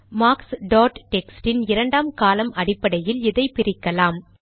marks dot text இன் இரண்டாம் காலம் அடிப்படையில் இதை பிரிக்கலாம்